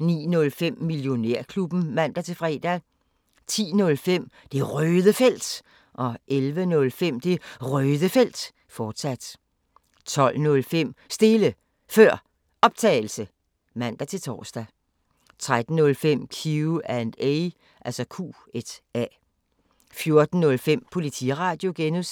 09:05: Millionærklubben (man-fre) 10:05: Det Røde Felt 11:05: Det Røde Felt, fortsat 12:05: Stille Før Optagelse (man-tor) 13:05: Q&A 14:05: Politiradio (G)